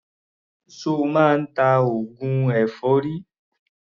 Ṣo máa ń ta oògùn èfọ́rí?